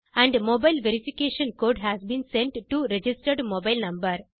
and mobile verification code has been sent to registered mobile number